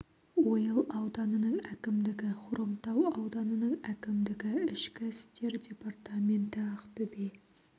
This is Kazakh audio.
ойыл ауданының әкімдігі хромтау ауданының әкімдігі ішкі істер департаменті ақтөбе